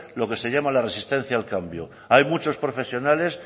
lo que se llama la resistencia al cambio hay muchos profesionales